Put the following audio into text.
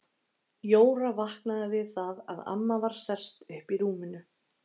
Jóra vaknaði við það að amma var sest upp í rúminu.